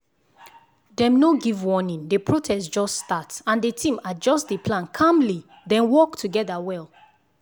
dem no give warning the protest just start and the team adjust the plan calmly then work together well.